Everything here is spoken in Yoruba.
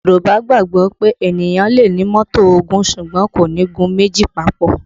Yorùbá gbàgbọ́ pé ènìyàn lè ní mọ́tò ogún, ṣùgbọ́n kò ní gun méjì papò